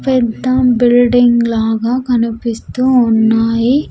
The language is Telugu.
పెద్ద బిల్డింగ్ లాగా కనిపిస్తూ ఉన్నాయి.